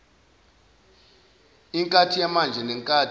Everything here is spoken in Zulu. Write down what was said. inkathi yamanje nenkathi